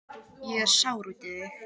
Ég er sár út í þig.